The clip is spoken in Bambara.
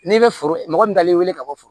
N'i bɛ foro mɔgɔ min dalen wele ka bɔ foro la